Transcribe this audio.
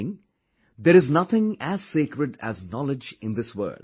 Meaning, there is nothing as sacred as knowledge in this world